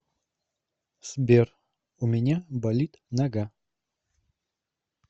сбер у меня болит нога